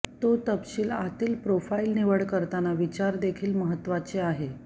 तो तपशील आतील प्रोफाइल निवड करताना विचार देखील महत्वाचे आहे